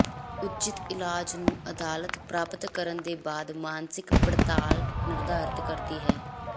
ਉਚਿਤ ਇਲਾਜ ਨੂੰ ਅਦਾਲਤ ਪ੍ਰਾਪਤ ਕਰਨ ਦੇ ਬਾਅਦ ਮਾਨਸਿਕ ਪੜਤਾਲ ਨਿਰਧਾਰਤ ਕਰਦਾ ਹੈ